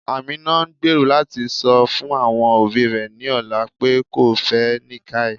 Amina n gbèró lati sọ fun awọn obì rẹ ní ọlà pe kò fẹ́ Nikkai.